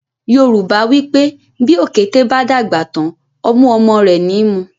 Yorùbá wípé “ bí òkété bá dàgbà tán, ọmú ọmọ rẹ̀ ni í mu”.